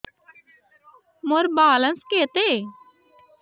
ମୋର ବାଲାନ୍ସ କେତେ